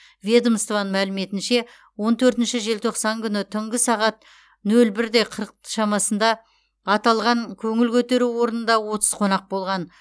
ведомстваның мәліметінше он төртінші желтоқсан күні түнгі сағат нөл бірде қырықт шамасынды аталған көңіл көтеру орнында отыз қонақ болған